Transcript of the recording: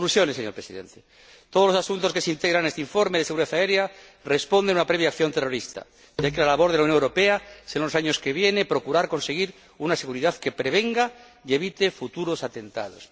Conclusiones, señor Presidente todos los asuntos que se integran en este informe de seguridad aérea responden a una previa acción terrorista, de ahí que la labor de la Unión Europea en los años que vienen sea procurar conseguir una seguridad que prevenga y evite futuros atentados.